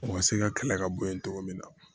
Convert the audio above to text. O ma se ka kɛlɛ ka bɔ yen togo min na